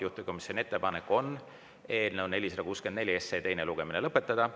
Juhtivkomisjoni ettepanek on eelnõu 464 teine lugemine lõpetada.